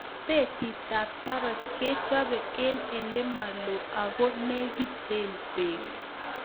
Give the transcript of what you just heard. Betitab saroch kechobe en elemoloo ako negiten beek.